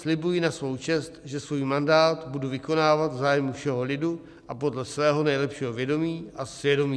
Slibuji na svou čest, že svůj mandát budu vykonávat v zájmu všeho lidu a podle svého nejlepšího vědomí a svědomí."